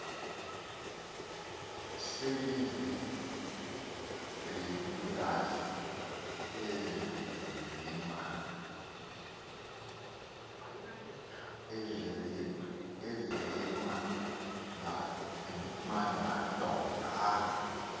selezimbelukazi ezimanz andonga